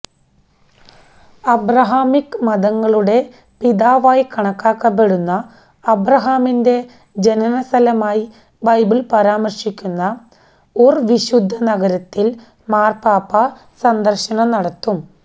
Abrahamic മതങ്ങളുടെ പിതാവായി കണക്കാക്കപ്പെടുന്ന അബ്രഹാമിന്റെ ജനന സ്ഥലമായി ബൈബിള് പരാമര്ശിക്കുന്ന ഉര് വിശുദ്ധ നഗരത്തില് മാര്പ്പാപ്പ സന്ദര്ശനം നടത്തും